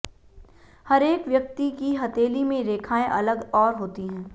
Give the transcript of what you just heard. हरेक व्यक्ति की हथेली में रेखाएं अलग और होती हैं